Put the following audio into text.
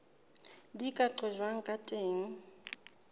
di ka qojwang ka teng